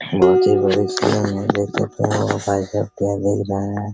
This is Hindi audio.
बहुत ही बड़ी देख सकते है पाइप देख रहे है ।